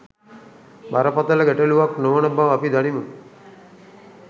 බරපතළ ගැටලුවක් නොවන බව අපි දනිමු